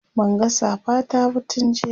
Banga safa ta ba tun jiya